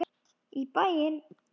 Í bæinn, já!